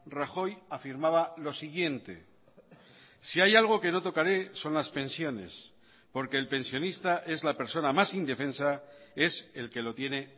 rajoy afirmaba lo siguiente si hay algo que no tocaré son las pensiones porque el pensionista es la persona más indefensa es el que lo tiene